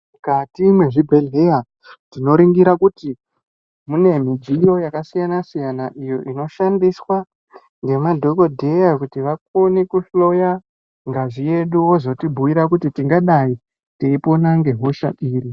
Mukati mwezvibhedhleya tinoningira kuti mune mudziyo yakasiyana-siyana. Iyo inoshandiswa ngemadhogodheya kuti vakone kuhloya ngazi yedu, vozotibhuira kuti tingadai teipona ngehosha iri.